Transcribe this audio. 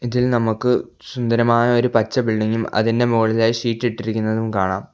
ഇതിൽ നമുക്ക് സുന്ദരമായ ഒരു പച്ച ബിൽഡിംഗും അതിന്റെ മുകളിലായി ഷീറ്റ് ഇട്ടിരിക്കുന്നതും കാണാം.